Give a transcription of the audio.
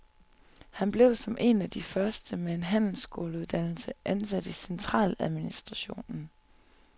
Han blev, som en af de første med en handelsskoleuddannelse, ansat i centraladministrationen.